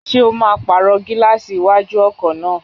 Ṣé o máa pàrọ̀ gílààsì iwájú ọkọ̀ náà?